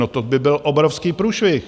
No, to by byl obrovský průšvih!